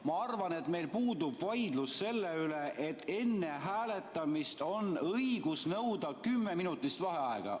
Ma arvan, et meil puudub vaidlus selle üle, et enne hääletamist on õigus nõuda kümneminutilist vaheaega.